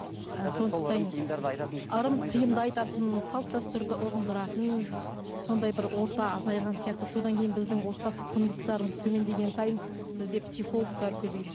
ырым тиымды айтатын салт дәстүрді ұғындыратын сондай бір орта азайған сияқты содан кейін біздің отбасылық құндылықтарымыз төмендеген сайын бізде психологтар көбейді